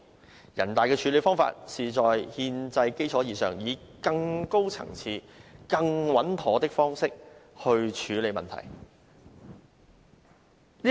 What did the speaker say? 人大常委會的處理方法是在憲制基礎之上，以更高層次、更穩妥的方式來處理問題。